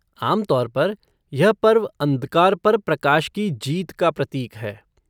आम तौर पर, यह पर्व अंधकार पर प्रकाश की जीत का प्रतीक है।